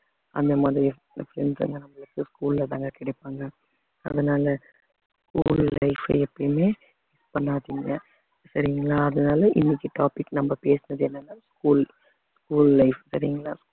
அந்த மாதிரி friends எல்லாம் நம்மளுக்கு school ல தாங்க கிடைப்பாங்க அதனால school life அ எப்பையுமே miss பண்ணாதீங்க சரிங்களா அதனால இன்னைக்கு topic நம்ம பேசுனது என்னன்னா school school life சரிங்களா